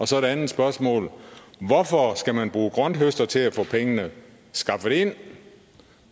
så et andet spørgsmål hvorfor skal man bruge grønthøster til at få pengene skaffet ind